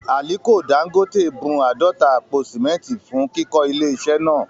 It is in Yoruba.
Àliko Dangote bun àádọ́ta àpò sìmẹ́ntì fún kíkọ́ ilé iṣẹ́ náà